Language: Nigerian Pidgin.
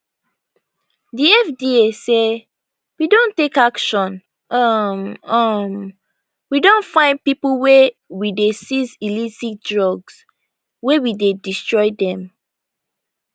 di fda say we don take action um um we don fine pipo we dey seize illicit drugs wey we dey destroy dem